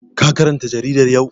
Ka karanta jaridar yau?